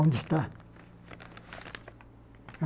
Onde está?